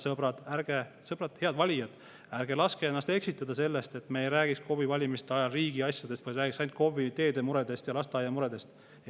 Sõbrad, head valijad, ärge laske ennast eksitada sellest, et me ei räägiks KOV‑i valimiste ajal riigiasjadest, vaid räägiks ainult KOV-i teede ja lasteaia muredest.